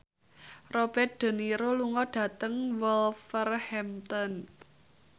Robert de Niro lunga dhateng Wolverhampton